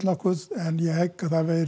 en ég hygg